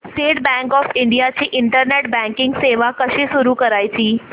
state Bank of India ची internet banking सेवा कशी सुरू करायची